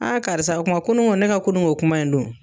karisa o kuma kununko ne ka kununko kuma in dun.